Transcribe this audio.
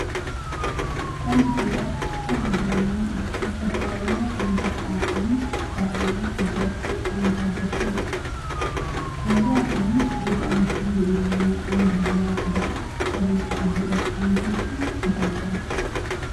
ከም ዝፍለጥ ኣብ ሃገርና ዝተፈላለዩ ዓይነታት ቋንቋን ባህልን ዝድረፉ ዓይነታት ደርፊ ኣለው። ካብዝኦቶም በዚ ኣብ ምስሊ እንርእዮ ብዘለና ዓይነት ባህላው ክዳን ተከድንካ ዝድረፍ ዓይነት ሙዙቃ እንታይ ይባሃል?